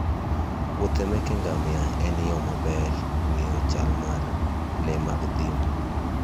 Wuodhe meke ngamia en yo maber mar ng'eyo chal mar le mag thim.